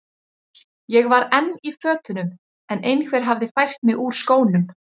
Ég var enn í fötunum en einhver hafði fært mig úr skónum.